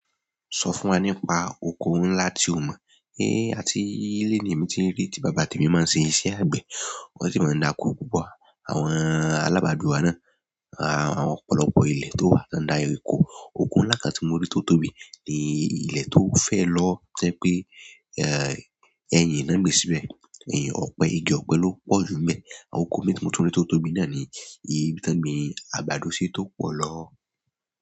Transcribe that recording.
Sọ fún wa nípa oko ńlá tí ó mọ́. Ni àti ile ni èmi ti rí ti bàbá tèmi ma ti nṣe àgbẹ̀. Wọ́n sì máa ń dà oko púpọ̀. Àwọn alábàáduwa náà, àwọn ọ̀pọ̀lọpọ̀ ilẹ̀ tó wà ní under Eko òkun ńlá kan tí mo rí totobi, ni i ilé tó fẹ́ lọ o, tó jẹ́ pé, eh, eyin ni wọ́n gbin síbẹ̀ ẹ̀yin ọ̀pẹ, igi ọ̀pẹ ló pọ̀ jù nbẹ́. Oko mi tí mo tún rí tó tóbi náà ni iyi tí wọ́n gbin àgbàdo ṣi tó pọ̀ lọ.